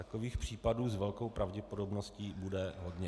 Takových případů s velkou pravděpodobností bude hodně.